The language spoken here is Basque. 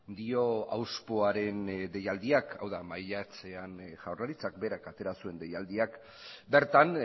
dio auzpoaren deialdiak hau da maiatzean jaurlaritzak berak atera zuen deialdiak bertan